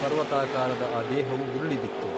ಪರ್ವತಾಕಾರದ ಆ ದೇಹವು ಉರುಳಿ ಬಿತ್ತು.